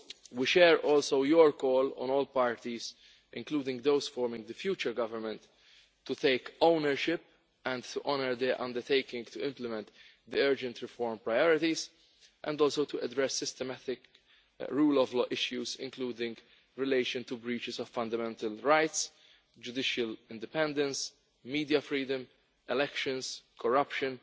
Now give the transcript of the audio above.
We also back your call on all parties, including those forming the future government, to take ownership and to honour the undertaking to implement the urgent reform priorities, and also to address systematic rule of law issues, including in relation to breaches of fundamental rights, judicial independence, media freedom, elections, corruption,